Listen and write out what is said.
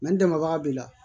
n dɛmɛbaga b'i la